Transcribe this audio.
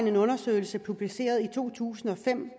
en undersøgelse publiceret i to tusind og fem